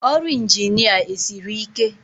Ọrụ Ịnjinịa esiri ike?